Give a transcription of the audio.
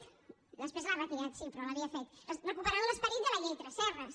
després l’ha retirat sí però l’havia fet recuperant l’esperit de la llei tresserras